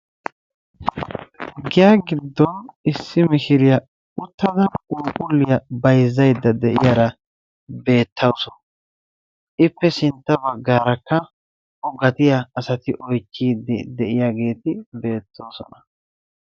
Giya giddon issi mishiriya uttada phuuphulliyaa bayzzaydda diyaara beettaawusu. ippe sintta baggarakka o gatiyaa asati oychchiiddi de'iyaageeti beettoosona.